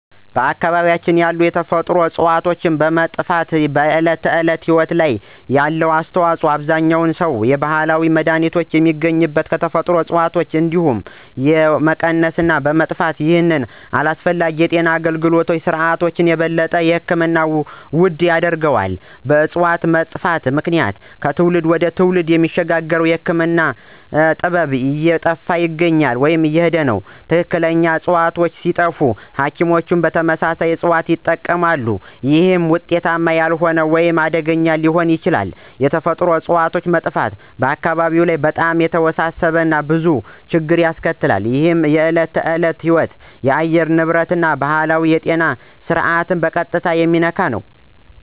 በአካባቢያችን ያሉ የተፈጥሮ እፅዋት መጥፋት በዕለት ተዕለት ሕይወት ላይ ያለው ተጽዕኖ አብዛኛውን ሰው የባህላዊ መድሃኒት የሚገኙት ከተፈጥሮ እጽዋት እንደመሆኑ የነዚህ መቀነስ እና መጥፋት ይህንን አስፈላጊ የጤና አገልግሎት ስርዓት የበለጠ ሕክምናውን ውድ ያደርገዋል። በእጽዋቱ መጥፋት ምክንያት ከትውልድ ወደ ትውልድ የሚሸጋገረው የህክምና ጥበብ እየጠፋ ይሄዳል። ትክክለኛ ዕፅዋት ሲጠፋ ሐኪሞች ተመሳሳይ እጽዋትን ይጠቀማሉ፣ ይህም ውጤታማ ያልሆነ ወይም አደገኛ ሊሆን ይችላል። የተፈጥሮ እጽዋት መጥፋት አካባቢዎች ላይ በጣም የተወሳሰበ እና ብዙ ችግር ያስከትላል። ይህ የዕለት ተዕለት ሕይወትን፣ የአየር ንብረትን እና ባህላዊውን የጤና ስርዓት በቀጥታ የሚነካ ነው።